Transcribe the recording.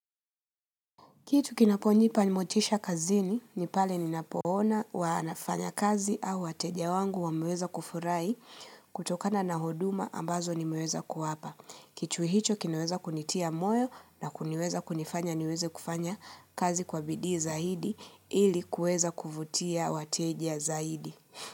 Kitu kinaponipa motisha kazini, nipale ninapoona wanafanya kazi au wateja wangu wa meweza kufurahi kutokana na huduma ambazo ni meweza kuwapa. Kitu hicho kinaweza kunitia moyo na kuniweza kunifanya niweze kufanya kazi kwa bidii zaidi ili kueza kuvutia wateja zaidi.